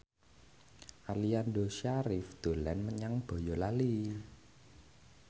Aliando Syarif dolan menyang Boyolali